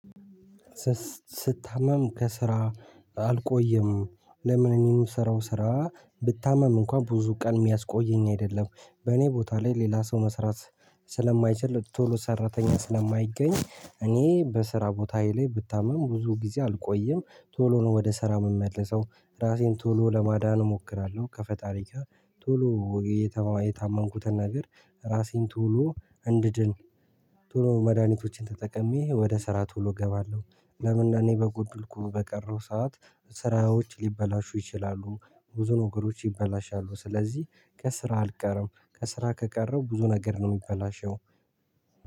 ስታመም ከስራ አልቆይም። ለምን እኔ እንደምሰራው ስራ ብታመም እንኳን ብዙ ቀን የሚያስቆየኝ አይደለም። በእኔ ቦታ ላይ ሌላ ሰው መስራት ስለማይችል ቶሎ ሰራተኛ ስለማይገኝ እኔ በስራ ቦታዬ ላይ ብታምም ብዙ ጊዜ አልቆይም። ቶሎ ነው ወደ ስራ የምመልሰው ራሴን ቶሎ ለማዳን እሞክራለሁ። ከፈጣሪ ጋር ቶሎ የታመንኩትን ነገር ራሴን ቶሎ እንድድን ቶሎ መድሃኒቶችን ተጠቅሜ ወደ ስራ ቶሎ እገባለሁ። ለምን? እኔ በጎድልኩ በቀረው ሰዓት ስራዎች ሊበላሹ ይችላሉ። ብዙ ነገሮች ይበላሻሉ። ስለዚህ ከስራ አልቀረም ከስራ ከቀረው ብዙ ነገር ነው የሚበላሸው።